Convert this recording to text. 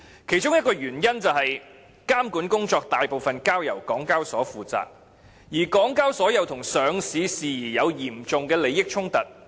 其中一個原因是監管工作大部分交由港交所負責，而港交所又與上市事宜有嚴重利益衝突。